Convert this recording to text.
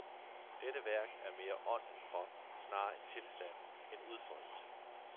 Dette værk er mere ånd end krop, snarere en tilstand end udfoldelse.